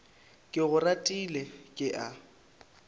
ke go ratile ke a